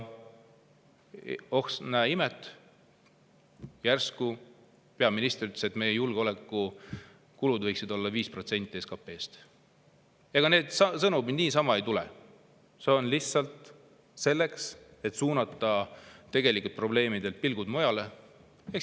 Oh imet, järsku peaminister ütles, et meie julgeolekukulud võiksid olla 5% SKP‑st. Ega need sõnumid niisama ei tule, see on lihtsalt selleks, et suunata tegelikelt probleemidelt pilgud mujale.